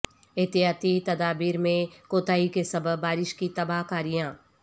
احتیاطی تدابیر میں کوتاہی کے سبب بارش کی تباہ کاریاں